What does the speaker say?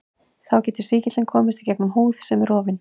Þá getur sýkillinn komist gegnum húð sem er rofin.